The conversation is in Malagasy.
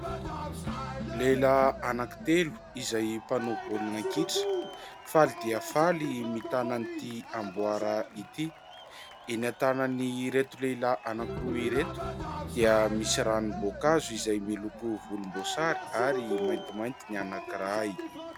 Lehilahy anankitelo izay mpanao baolina kitra, faly dia faly mitana ity amboara ity. Eny an-tanan'ireto lehilahy anankiroa ireto dia misy ranomboankazo izay miloko volomboasary ary maintimainty ny anankiray.